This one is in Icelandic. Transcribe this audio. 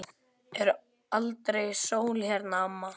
Er aldrei sól hérna, amma?